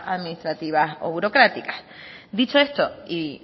administrativas o burocráticas dicho esto y